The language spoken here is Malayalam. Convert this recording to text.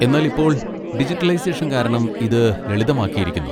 എന്നാൽ ഇപ്പോൾ ഡിജിറ്റൈസേഷൻ കാരണം ഇത് ലളിതമാക്കിയിരിക്കുന്നു.